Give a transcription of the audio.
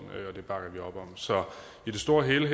og det bakker vi op om så i det store hele